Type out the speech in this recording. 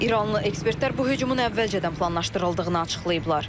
İranlı ekspertlər bu hücumun əvvəlcədən planlaşdırıldığını açıqlayıblar.